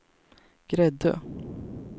Gräddö